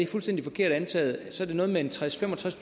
fuldstændig forkert antaget noget med tredstusind